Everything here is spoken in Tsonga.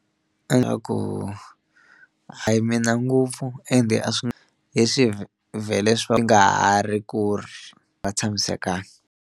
Nga ku a hi mina ngopfu ende a swi vhele nga ha ri ku ri va tshamisekangi.